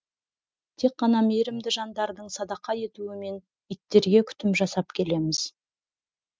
тек қана мейірімді жандардың садақа етуімен иттерге күтім жасап келеміз